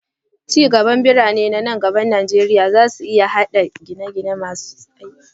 Ci gaban birane nan gaba a Najeriya zai iya haɗa da gidaje masu dacewa da muhalli.